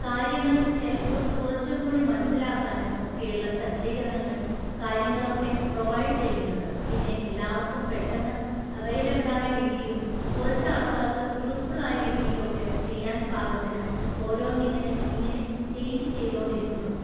കാര്യങ്ങള്‍ ഹെൽപ്പ് കുറച്ചുംകൂടി മനസ്സിലാക്കാനും ഒക്കെയുള്ള സജ്ജീകരണങ്ങള്‍ കാര്യങ്ങളൊക്കെ പ്രൊവൈഡ് ചെയ്യുന്നുണ്ട് പിന്നെ എല്ലാവർക്കും പെട്ടെന്ന് അവൈലബിളായ രീതിയിലും കുറച്ച് ആൾക്കാർക്ക് യൂസ്ഫുൾ ആയ രീതീലൊക്കെ ചെയ്യാൻ പാകത്തിന് ഓരോന്നിങ്ങനെ ഇങ്ങനെ ചേയ്ഞ്ച് ചെയ്തോണ്ടിരിക്കുന്നുണ്ട്